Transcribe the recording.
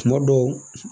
Kuma dɔw